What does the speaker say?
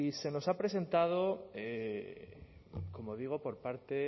se nos ha presentado como digo por parte